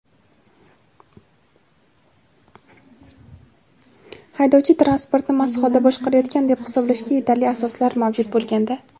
haydovchi transportni mast holda boshqarayotgan deb hisoblashga yetarli asoslar mavjud bo‘lganda;.